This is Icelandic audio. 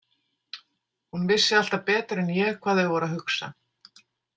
Hún vissi alltaf betur en ég hvað þau voru að hugsa.